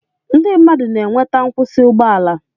Ndị mmadụ na-enweta nkwụsị ụgbọ ala